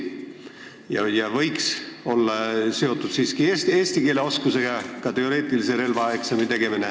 Ka teoreetilise relvaeksami tegemine võiks siiski olla seotud eesti keele oskusega.